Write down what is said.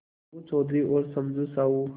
अलगू चौधरी और समझू साहु